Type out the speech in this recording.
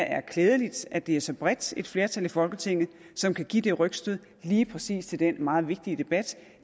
er klædeligt at det er så bredt et flertal i folketinget som kan give det rygstød lige præcis til den meget vigtige debat